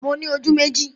Mo ní ojú méjì